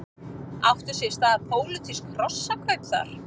Áttu sér stað pólitísk hrossakaup þar?